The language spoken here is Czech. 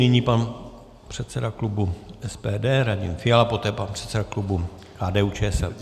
Nyní pan předseda klubu SPD Radim Fiala, poté pan předseda klubu KDU-ČSL.